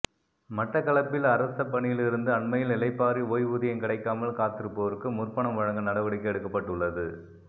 மட்டக்களப்பில் அரச பணியிலிருந்து அண்மையில் இளைப்பாறி ஓய்வூதியம் கிடைக்காமல் காத்திருப்போருக்கு முற்பணம் வழங்க நடவடிக்கை எடுக்கப்பட்டுள்ளது